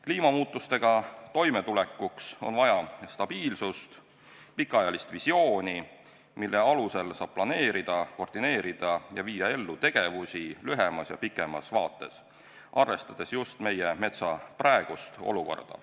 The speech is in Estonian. Kliimamuutustega toimetulekuks on vaja stabiilsust ja pikaajalist visiooni, mille alusel saab planeerida, koordineerida ja viia ellu tegevusi lühemas ja pikemas vaates, arvestades just meie metsa praegust olukorda.